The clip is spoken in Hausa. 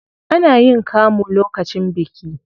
Ana yin kamu lokacin biki.